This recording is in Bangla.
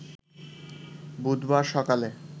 বুধবার সকালে